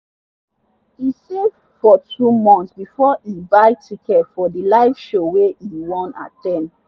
e save for two months before e buy ticket for the live show wey e wan at ten d.